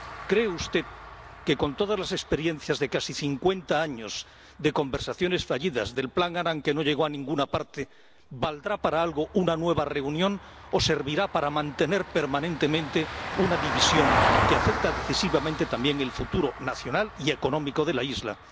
¿Cree usted que, con todas las experiencias de casi cincuenta años de conversaciones fallidas, del plan Annan, que no llegó a ninguna parte, valdrá para algo una nueva reunión o servirá para mantener permanentemente una división que afecta decisivamente también al futuro nacional y económico de la isla?